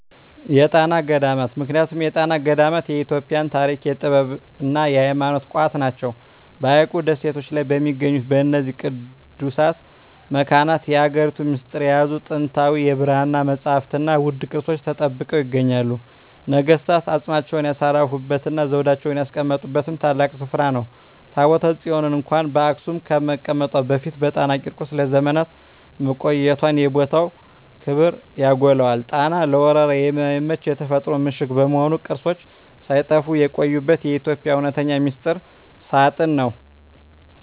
የጣና ገዳማት ምክንያቱም የጣና ገዳማት የኢትዮጵያ የታሪክ፣ የጥበብና የሃይማኖት ቋት ናቸው። በሐይቁ ደሴቶች ላይ በሚገኙት በእነዚህ ቅዱሳት መካናት፣ የሀገሪቱን ሚስጥር የያዙ ጥንታዊ የብራና መጻሕፍትና ውድ ቅርሶች ተጠብቀው ይገኛሉ። ነገሥታት አፅማቸውን ያሳረፉበትና ዘውዳቸውን ያስቀመጡበት ታላቅ ስፍራ ነው። ታቦተ ጽዮን እንኳን በአክሱም ከመቀመጧ በፊት በጣና ቂርቆስ ለዘመናት መቆየቷ የቦታውን ክብር ያጎላዋል። ጣና ለወረራ የማይመች የተፈጥሮ ምሽግ በመሆኑ፣ ቅርሶች ሳይጠፉ የቆዩበት የኢትዮጵያ እውነተኛ ሚስጥር ሳጥን ነው።